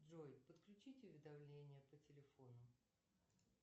джой подключить уведомления по телефону